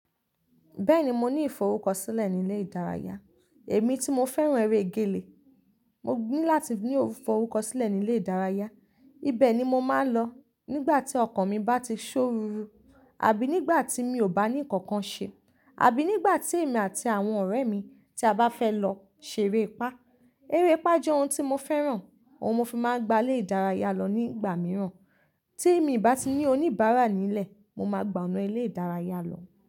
Bẹ́ẹ̀ni mo ní ìforúkọ sílẹ̀ nílé ìdárayá, èmi tí mo fẹ́ràn eré gèlè. Mo ní láti ní ìforúkọ sílẹ̀ nílé ìdárayá, ibẹ̀ ni mo máa ń lọ nígbà tí ọkàn mi bá ti ṣó ruru, àbí nígbà tí mi ò bá ní nǹkan kan ṣe, àbí nígbà tí èmi àti àwọn ọ̀rẹ́ mi tí a bá fẹ́ lọ ṣeré ipáa. Eré ipá jẹ́ oun tí mo fẹ́ràn, oun mo fi máa ń gba ilé ìdárayá lọ nígbà mìíràn. Tí mi bá ti ní oníbàárà nílẹ̀, mo máa gbà oná ilé ìdárayá lọ.